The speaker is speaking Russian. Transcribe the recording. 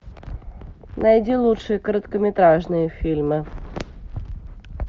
найди лучшие короткометражные фильмы